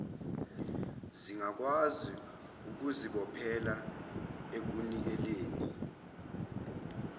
zingakwazi ukuzibophezelela ekunikeleni